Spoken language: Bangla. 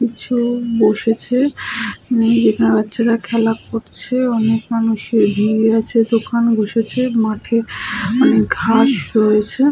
কিছু বসেছে বাচ্চারা খেলা করছে। অনেক মানুষ ঘিরয়া বসেছে দোকান বসেছে। মাঠে অনেক ঘাস রয়েছে।